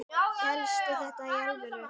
Hélstu þetta í alvöru?